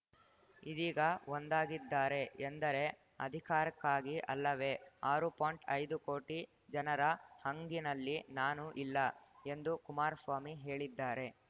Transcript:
ಇದೀಗ ಒಂದಾಗಿದ್ದಾರೆ ಎಂದರೆ ಅಧಿಕಾರಕ್ಕಾಗಿ ಅಲ್ಲವೇ ಆರು ಪಾಯಿಂಟ್ಐದು ಕೋಟಿ ಜನರ ಹಂಗಿನಲ್ಲಿ ನಾನು ಇಲ್ಲ ಎಂದು ಕುಮಾರಸ್ವಾಮಿ ಹೇಳಿದ್ದಾರೆ